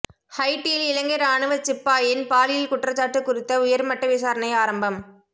ஹைட்டியில் இலங்கை இராணுவச் சிப்பாயின் பாலியல் குற்றச்சாட்டு குறித்த உயர்மட்ட விசாரணை ஆரம்பம்